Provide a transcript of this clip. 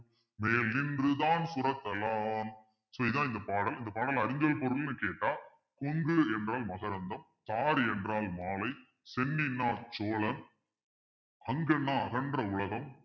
மேநின்று தாஞ்சுரத்த லான் so இதான் இந்த பாடல் இந்த பாடல் அறிஞ்சல் பொருள்ன்னு கேட்டா கொங்கு என்றால் மகரந்தம் என்றால் மாலை சென்னின்னா சோழன் வங்கண்னா அகன்ற உலகம்